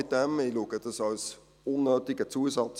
Ich erachte dies als unnötigen Zusatz.